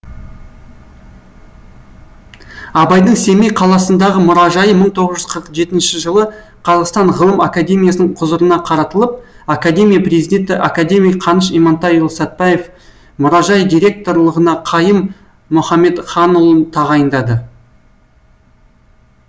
абайдың семей қаласындағы мұражайы мың тоғыз жүз қырық жетінші жылы қазақстан ғылым академиясының құзырына қаратылып академия президенті академик қаныш имантайұлы сәтбаев мұражай директорлығына қайым мұхамедханұлын тағайындады